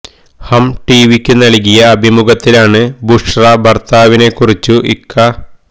ഹം ടി വിക്കു നൽകിയ അഭിമുഖത്തിലാണ് ബുഷ്റ ഭർത്താവിനെ കുറിച്ചു ഇക്ക